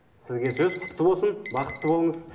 сізге сөз құтты болсын бақытты болыңыз